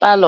paalọ.